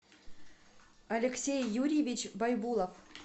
алексей юрьевич байбулов